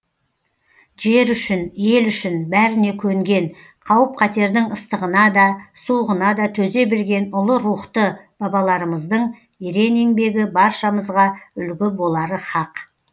жер үшін ел үшін бәріне көнген қауіп қатердің ыстығына да суығына да төзе білген ұлы рухты бабаларымыздың ерен еңбегі баршамызға үлгі болары һақ